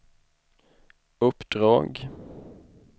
uppdrag